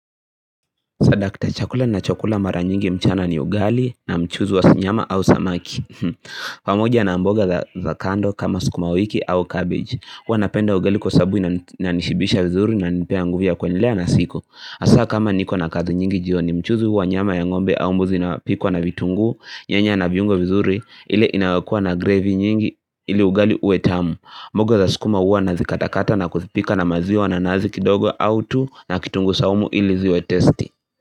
Swadakta chakula nachokula mara nyingi mchana ni ugali na mchuzi wa nyama au samaki pamoja na mboga za kando kama sukuma wiki au cabbage. Huwa napenda ugali kwa sababu inanishibisha vizuri na inanipea nguvu ya kuendelea na siku hasa kama niko na kazi nyingi jioni mchuzi huwa nyama ya ng'ombe au mbuzi na pikwa na vitunguu nyanya na viungo vizuri ile inayokuwa na gravy nyingi ili ugali uwe tamu mboga za sukuma huwa nazi katakata na kuzipika na maziwa na nazi kidogo au tu na kitungu saumu ili ziwe tasty.